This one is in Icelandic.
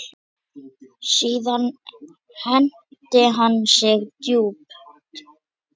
Síðan hneigir hann sig djúpt.